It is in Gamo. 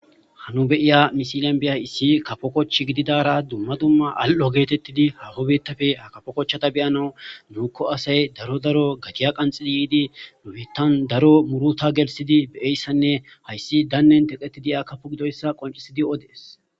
Hanu beiya misilan biya issi kafo kochch gididara dumma dumma al7o geetettidi hahobettafe ha kafo kochchata beyana nuuko asay daro daro gatiya qanxidi yiidi numittan daro muruta gelsidi beeyssanne hayssi dannen teqeti diya kapu gidoyssa qoncisidi odees